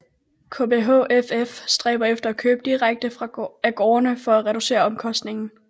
KBHFF stræber efter at købe direkte af gårdene for at reducere omkostningen